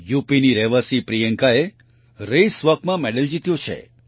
યુપીની રહેવાસી પ્રિયંકાએ રેસ Walkમાં મેડલ જીત્યો છે